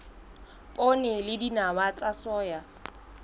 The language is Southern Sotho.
poone le dinawa tsa soya